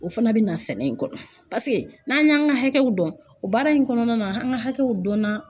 O fana bɛ na sɛnɛ in kɔnɔ paseke n'an y'an ka hakɛw dɔn, o baara in kɔnɔna na an ka hakɛw dɔnna